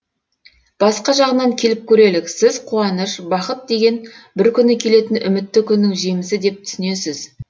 басқа жағынан келіп көрелік сіз қуаныш бақыт деген бір күні келетін үмітті күннің жемісі деп түсінесіз